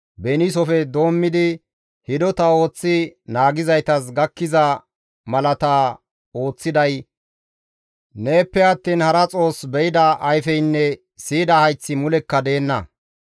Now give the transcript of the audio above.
Beniisofe doommidi hidota ooththi naagizaytas gakkiza malaata ooththiday neeppe attiin hara Xoos be7ida ayfeynne siyida hayththi mulekka deenna.